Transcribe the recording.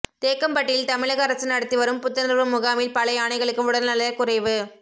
தேக்கம்பட்டியில் தமிழக அரசு நடத்தி வரும் புத்துணர்வு முகாமில் பல யானைகளுக்கு உடல்நலக் குறைவு